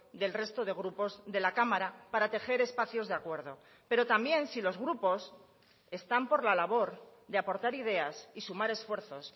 del resto de grupos de la cámara para tejer espacios de acuerdo pero también si los grupos están por la labor de aportar ideas y sumar esfuerzos